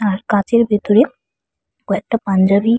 উমম কাঁচের ভেতরে কয়েকটা পাঞ্জাবি।